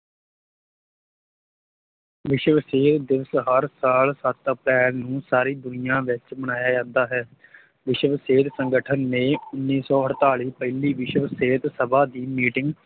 ਵਿਸ਼ਵ ਸਿਹਤ ਦਿਵਸ ਹਰ ਸਾਲ ਸੱਤ ਅਪ੍ਰੈਲ ਨੂੰ ਸਾਰੀ ਦੁਨੀਆ ਵਿੱਚ ਮਨਾਇਆ ਜਾਂਦਾ ਹੈ ਵਿਸ਼ਵ ਸਿਹਤ ਸੰਗਠਨ ਨੇ ਉੱਨੀ ਸੌ ਅੜਤਾਲੀ ਪਹਿਲੀ ਵਿਸ਼ਵ ਸਿਹਤ ਸਭਾ ਦੀ meeting